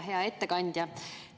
Hea ettekandja!